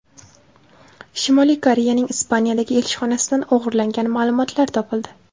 Shimoliy Koreyaning Ispaniyadagi elchixonasidan o‘g‘irlangan ma’lumotlar topildi.